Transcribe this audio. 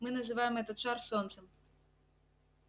мы называем этот шар солнцем